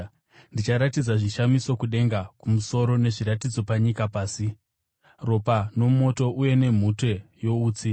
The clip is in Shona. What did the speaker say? Ndicharatidza zvishamiso kudenga kumusoro, nezviratidzo panyika pasi, ropa nomoto uye nemhute youtsi.